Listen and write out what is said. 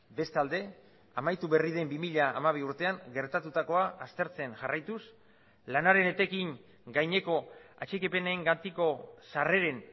bestalde amaitu berri den bi mila hamabi urtean gertatutakoa aztertzen jarraituz lanaren etekin gaineko atxikipenengatiko sarreren